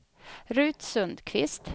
Ruth Sundkvist